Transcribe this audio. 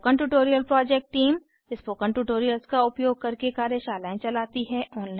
spoken tutorial project team spoken tutorials का उपयोग करके कार्यशालाएं चलाती है